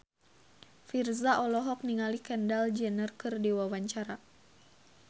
Virzha olohok ningali Kendall Jenner keur diwawancara